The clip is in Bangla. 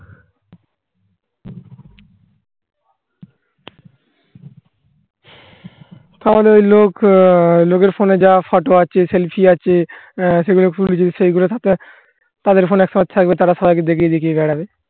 তাহলে ওই লোক আ লোকের phone এ যা photo আছে selfie আছে অ্যা সেগুলো পুরো যদি সেগুলো থাকে তাদের phone action থাকবে তারা সবাইকে দেখিয়ে দি কে খাবে